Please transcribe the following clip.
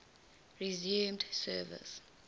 resumed service